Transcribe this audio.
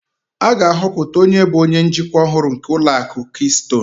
A ga-ahọpụta onye bụ onye njikwa ọhụrụ nke ụlọ akụ kistonu